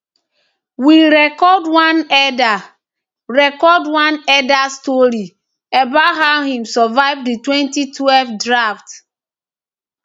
we record one elder record one elder story about how him survive di 2012 drought